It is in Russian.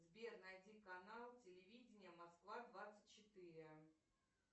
сбер найди канал телевидения москва двадцать четыре